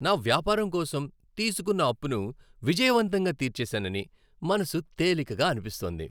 నా వ్యాపారం కోసం తీసుకున్న అప్పును విజయవంతంగా తీర్చేశానని మనసు తేలికగా అనిపిస్తోంది.